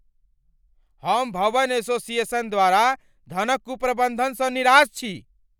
हम भवन एसोसिएशन द्वारा धनक कुप्रबन्धनसँ निराश छी।